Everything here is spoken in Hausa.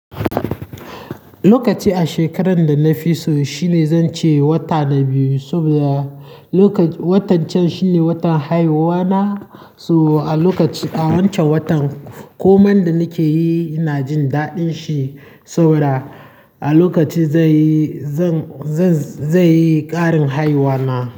Lokaci a shekarar da na fi so shine zan ce wata na biyu saboda lokac-- watan can shi ne watan haihuwana. So a lokaci a wancan watan komai da nake yi ina jin daɗin shi saboda a lokaci zai yi, zan, zan, zai yi ƙarin haihuwa na.